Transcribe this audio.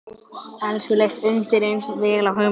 Elsu leist undireins vel á hugmyndina.